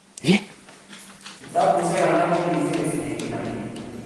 kitabushek alak ko kisirei eng kila kenyit